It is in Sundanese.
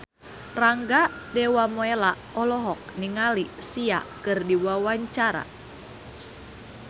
Rangga Dewamoela olohok ningali Sia keur diwawancara